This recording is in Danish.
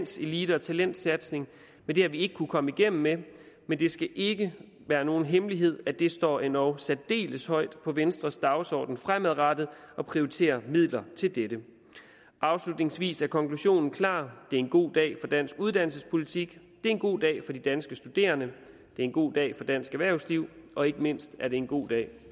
sin elite og talentsatsning men det har vi ikke kunnet komme igennem med men det skal ikke være nogen hemmelighed at det står endog særdeles højt på venstres dagsorden fremadrettet at prioritere midler til dette afslutningsvis er konklusionen klar det er en god dag for dansk uddannelsespolitik det er en god dag for de danske studerende det er en god dag for dansk erhvervsliv og ikke mindst er det en god dag